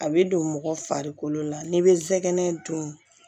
A bɛ don mɔgɔ farikolo la n'i bɛ zɛgɛnɛ dun